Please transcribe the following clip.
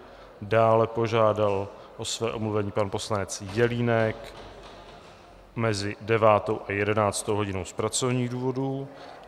Dále požádal o své omluvení pan poslanec Jelínek mezi 9. a 11. hodinou z pracovních důvodů.